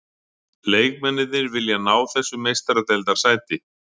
Leikmennirnir vilja ná þessu meistaradeildarsæti.